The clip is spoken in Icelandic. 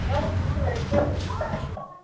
Eins og allt moraði í krökkum maður.